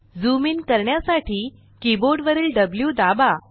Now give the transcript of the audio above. zoom in करण्यासाठी keyboard वरील Wदाबा